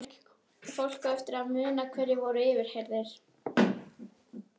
Fólk á eftir að muna hverjir voru yfirheyrðir.